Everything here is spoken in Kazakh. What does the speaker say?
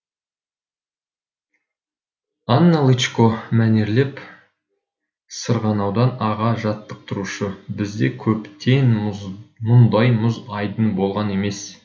анна лычко мәнерлеп сырғанаудан аға жаттықтырушы бізде көптен мұндай мұз айдыны болған емес